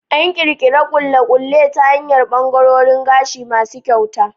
An ƙirƙiri ƙulle-ƙulle ta hanyar ɓangarorin gashi masu kyauta.